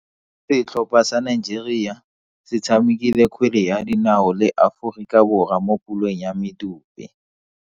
Setlhopha sa Nigeria se tshamekile kgwele ya dinao le Aforika Borwa mo puleng ya medupe.